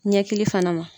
Ɲɛkili fana ma